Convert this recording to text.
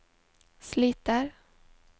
sliter